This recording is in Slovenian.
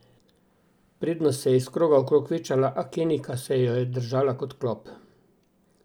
Prednost se je iz kroga v krog večala, a Kenijka se jo je držala kot klop.